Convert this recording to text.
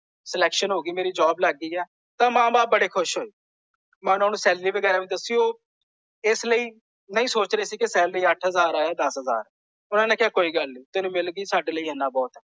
Selection ਹੋ ਗਈ ਮੇਰੀ ਜਾਬ ਲੱਗ ਗਈ ਹੈ। ਤਾਂ ਮਾਂ ਬਾਪ ਬੜੇ ਖੁਸ਼ ਹੋਏ। ਮੈਂ ਓਹਨਾ ਨੂੰ ਸੈਲੇਰੀ ਵਗੈਰਾ ਵੀ ਦੱਸੀ ਉਹ ਇਸ ਲਈ ਨਹੀਂ ਸੋਚ ਰਹੇ ਸੀ ਕਿ ਸੈਲਰੀ ਅੱਠ ਹਜ਼ਾਰ ਹੈ ਜਾਂ ਦੱਸ ਹਜ਼ਾਰ। ਓਹਨਾ ਨੇ ਕਿਹਾ ਕੋਈ ਗੱਲ ਨਹੀਂ। ਤੈਨੂੰ ਮਿਲ ਗਈ ਸਾਡੇ ਲਈ ਇੰਨਾ ਬਹੁਤ ਹੈ।